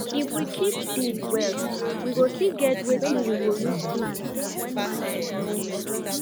if we keep deed well we go still get wetin we go use plant wen market nor hold